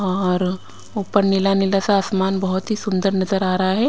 और ऊपर नीला नीला सा आसमान बहुत ही सुंदर नजर आ रहा है।